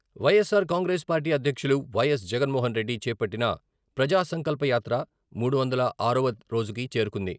YSR Congress party అధ్యక్షులు వై.ఎస్.జగన్మోహన్ రెడ్డి చేపట్టిన ప్రజాసంకల్ప యాత్రమూడు వందల ఆరువ రోజుకు చేరుకుంది.